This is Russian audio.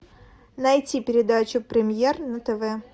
найти передачу премьер на тв